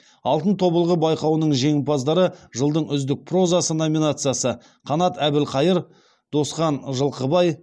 алтын тобылғы байқауының жеңімпаздары жылдың үздік прозасы номинациясы қанат әбілқайыр досхан жылқыбай